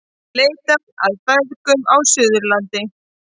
Leitað að feðgum á Suðurlandi